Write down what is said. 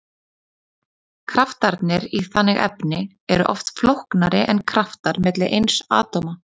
Kraftarnir í þannig efni eru oft flóknari en kraftar milli eins atóma.